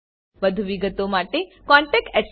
વધુ વિગતો માટે કૃપા કરી contactspoken tutorialorg પર લખો